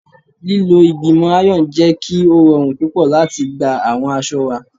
Lilo igbimọ iron jẹ ki o rọrun pupọ lati gba awọn aṣọ wa